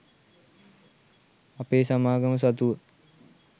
අපේ සමාගම සතුව